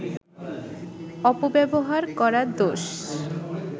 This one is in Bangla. অপব্যবহার করা দোষ